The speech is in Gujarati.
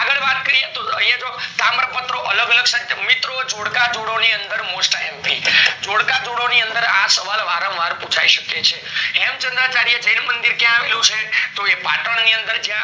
આગળ વાત કરીએ તો તાંબ પત્ર અલગ અલગ છે મિત્રો જોડકા જોડો ની અંદર mostimp જોડકા જોડો ની અંદર આ સવાલ વારમ વાર પુછાય શકે છે હેમ્ચાન્દ્રચારીય જૈન મંદિર ક્યાં આવેલું છે તો એ પતન ની અંદર